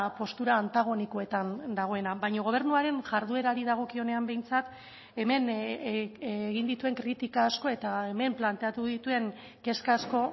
postura antagonikoetan dagoena baina gobernuaren jarduerari dagokionean behintzat hemen egin dituen kritika asko eta hemen planteatu dituen kezka asko